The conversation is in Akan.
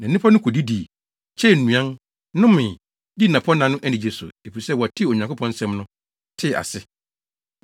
Na nnipa no kodidii, kyɛɛ nnuan, nomee, dii dapɔnna no anigye so, efisɛ wɔtee Onyankopɔn nsɛm no, tee ase.